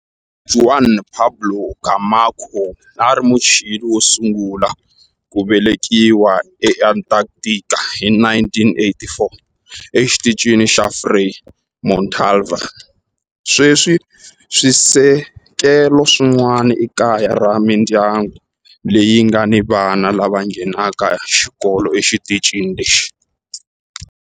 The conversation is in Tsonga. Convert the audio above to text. Juan Pablo Camacho a a ri Muchile wo sungula ku velekiwa eAntarctica hi 1984 eXitichini xa Frei Montalva. Sweswi swisekelo swin'wana i kaya ra mindyangu leyi nga ni vana lava nghenaka xikolo exitichini lexi.